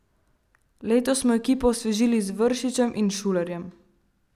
Letos smo ekipo osvežili z Vršičem in Šulerjem.